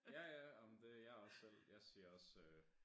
Ja ja ej men det jeg også selv jeg siger også